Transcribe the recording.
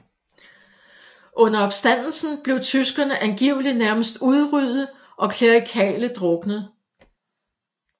Under opstanden blev tyskerne angiveligt nærmest udryddet og klerikale druknet